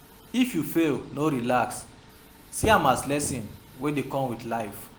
If you fail, no relax, see am as lesson wey dey come with life